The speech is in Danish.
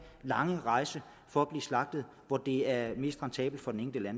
lange rejse for at blive slagtet hvor det er mest rentabelt for den enkelte